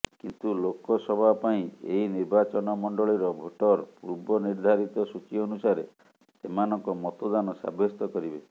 କିନ୍ତୁ ଲୋକସବା ପାଇଁ ଏହି ନିର୍ବାଚନମଣ୍ଡଳିର ଭୋଟର ପୂର୍ବ ନିର୍ଦ୍ଧାରିତ ସୂଚୀ ଅନୁସାରେ ସେମାନଙ୍କ ମତଦାନ ସାବ୍ୟସ୍ତ କରିବେ